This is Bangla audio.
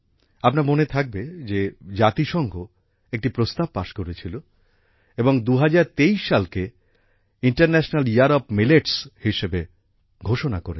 আপনার মনে থাকবে যে জাতিসংঘ একটি প্রস্তাব পাস করেছিল এবং ২০২৩ সালকে আন্তর্জাতিক শস্য বর্ষ হিসাবে ঘোষণা করেছে